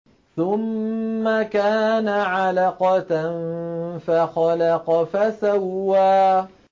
ثُمَّ كَانَ عَلَقَةً فَخَلَقَ فَسَوَّىٰ